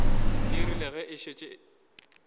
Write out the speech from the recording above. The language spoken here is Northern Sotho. e rile ge a šetše